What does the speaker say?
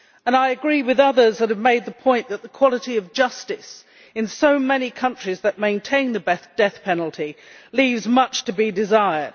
I also agree with others who have made the point that the quality of justice in so many countries that maintain the death penalty leaves much to be desired.